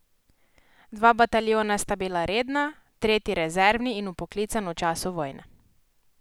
Dva bataljona sta bila redna, tretji rezervni in vpoklican v času vojne.